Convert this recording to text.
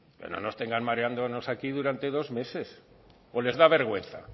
pero no nos tengan mareándonos aquí durante dos meses o les da vergüenza